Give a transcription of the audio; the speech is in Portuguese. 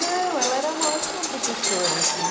Não, ela era uma ótima professora, assim.